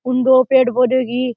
उन दो पेड़ पोधो की--